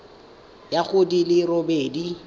ya go di le robedi